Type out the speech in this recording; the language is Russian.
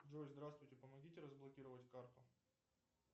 джой здравствуйте помогите разблокировать карту